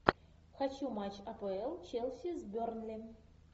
хочу матч апл челси с бернли